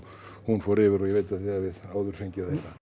hún fór yfir og ég veit að þið hafið áður fengið að